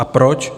A proč?